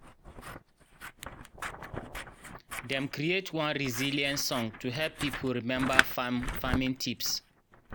dem create one resilience song to help people remember farming tips.